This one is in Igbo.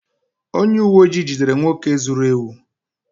onye uwe ojii jidere nwoke zuru ewu